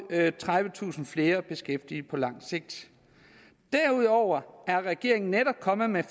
tredivetusind flere beskæftigede på langt sigt derudover er regeringen netop kommet med